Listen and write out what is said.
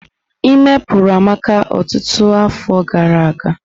Íme puru Amara ọtụtụ afọ gara aga.